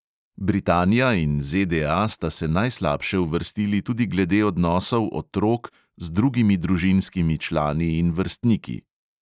Britanija in ZDA sta se najslabše uvrstili tudi glede odnosov otrok z drugimi družinskimi člani in vrstniki.